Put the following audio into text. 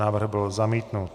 Návrh byl zamítnut.